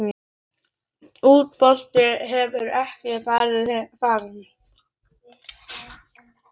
Útboð hefur ekki farið fram.